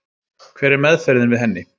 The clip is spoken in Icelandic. Hver er meðferðin við henni?